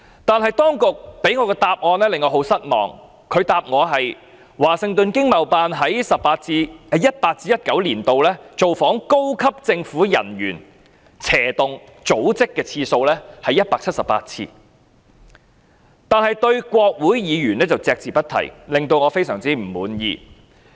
但當局向我作出的答覆令我感到很失望，他們答覆，華盛頓經貿辦在 2018-2019 年度造訪高級政府人員/組織的次數是178次，但對於國會議員卻隻字不提，令我非常不滿意。